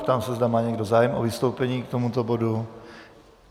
Ptám se, zda má někdo zájem o vystoupení k tomuto bodu.